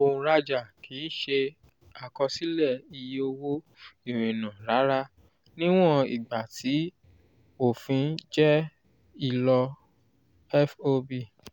òǹrajà kì í ṣe àkọsílẹ iye owó ìrìnnà rárá níwọ̀n ìgbà tí òfin jẹ́ ìlọ fob